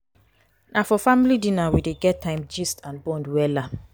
na for family dinner we dey get time gist and bond wella.